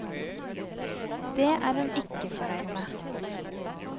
Det er hun ikke fornøyd med.